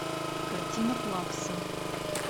картина плакса